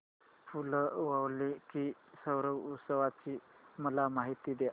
फूल वालों की सैर उत्सवाची मला माहिती दे